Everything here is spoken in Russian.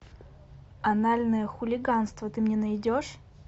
анальное хулиганство ты мне найдешь